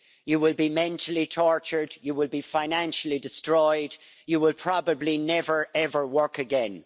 You will be mentally tortured, you will be financially destroyed, and you will probably never ever work again.